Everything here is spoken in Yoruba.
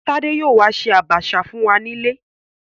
Tádé yóò ṣe Àbàṣà fún wa nílé